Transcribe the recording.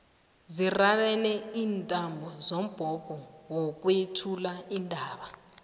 zirarene iintambo zombhobho wokwethula iindaba